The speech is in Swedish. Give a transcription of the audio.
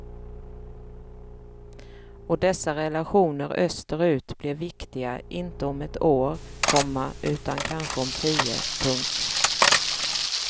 Och dessa relationer österut blir viktiga inte om ett år, komma utan kanske om tio. punkt